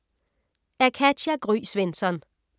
Af Katja Gry Svensson